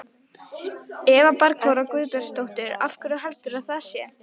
Eva Bergþóra Guðbergsdóttir: Af hverju heldurðu að það sé?